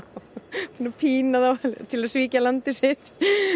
pína þá til að svíkja landið sitt